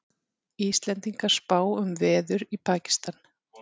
Íslendingar spá um veður í Pakistan